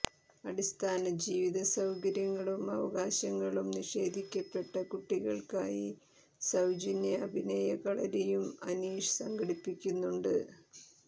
അടിസ്ഥാനജീവിതസൌകര്യങ്ങളും അവകാശങ്ങളും നിഷേധിക്കപ്പെട്ട കുട്ടികള്ക്കായി സൌജന്യ അഭിനയ കളരിയും അനീഷ് സംഘടിപ്പിക്കുന്നുണ്ട്